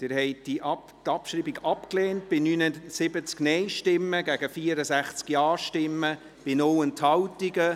Sie haben die Abschreibung abgelehnt, mit 79 Nein- gegen 64 Ja-Stimmen bei 0 Enthaltungen.